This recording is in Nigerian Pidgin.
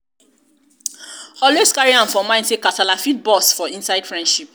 always carry am for mind sey kasala fit burst for inside friendship